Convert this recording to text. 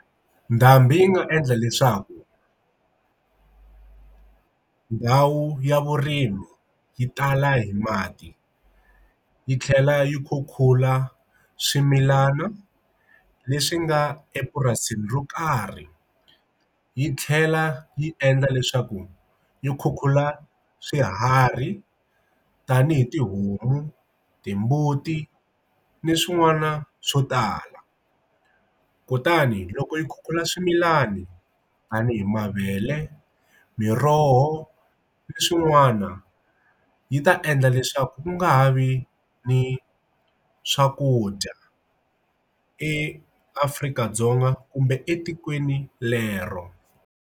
Ndhambi yi nga endla leswaku ndhawu ya vurimi yi tala hi mati yi tlhela yi khukhula swimilana leswi nga epurasini ro karhi yi tlhela yi endla leswaku yi khukhula swiharhi tanihi tihomu timbuti ni swin'wana swo tala kutani loko yi khukhula swimilani tanihi mavele miroho leswin'wana yi ta endla leswaku ku nga vi ni swakudya eafrika dzonga kumbe etikweni lero.